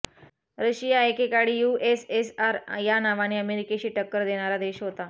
Russia एकेकाळी USSR या नावाने अमेरिकेशी टक्कर देणारा देश होता